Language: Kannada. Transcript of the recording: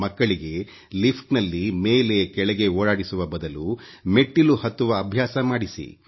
ಮಕ್ಕಳಿಗೆ ಲಿಫ್ಟ್ ನಲ್ಲಿ ಮೇಲೆ ಕೆಳಗೆ ಓಡಾಡಿಸುವ ಬದಲು ಮೆಟ್ಟಿಲು ಹತ್ತುವ ಅಭ್ಯಾಸ ಮಾಡಿಸಿ